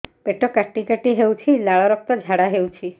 ପେଟ କାଟି କାଟି ହେଉଛି ଲାଳ ରକ୍ତ ଝାଡା ହେଉଛି